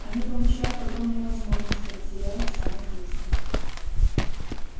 они получают огромные возможности но теряют саму жизнь